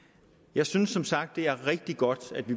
jeg synes som sagt det er rigtig godt at vi